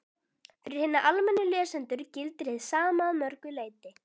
Fyrir hina almennu lesendur gildir hið sama að mörgu leyti.